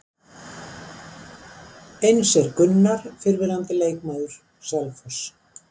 Eins er Gunnar fyrrverandi leikmaður Selfoss.